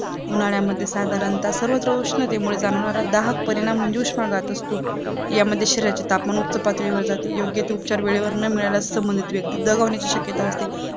उन्हाळ्यामध्ये साधारणता सर्वत्र उष्णते मुळे जाणवणारा दाहक परिणाम म्हणजे उषमाघात असतो यामध्ये शरीराचे तापमान उच्च पातळीवर जाते योग्य ते उपचार वेळेमध्ये न मिळाल्यास संबंधित व्यक्तीदगावण्याची शक्यता असते